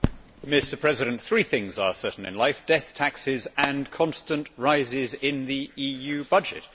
Mr President, three things are certain in life death, taxes and constant rises in the EU budget.